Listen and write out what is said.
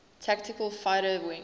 tactical fighter wing